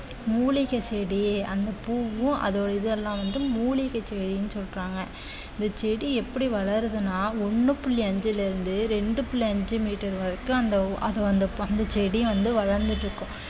மூலிகை செடி அந்த பூவும் அதோட இதெல்லாம் வந்து மூலிகை செடின்னு சொல்றாங்க இந்த செடி எப்படி வளருதுன்னா ஒண்ணு புள்ளி அஞ்சுல இருந்து ரெண்டு புள்ளி அஞ்சு மீட்டர் வரைக்கும் அந்த ஓ~ அது வந்து அந்த செடி வந்து வளர்ந்துட்டிருக்கும்